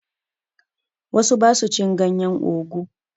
Wasu ba su cin ganyen ogu.